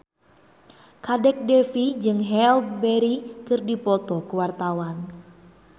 Kadek Devi jeung Halle Berry keur dipoto ku wartawan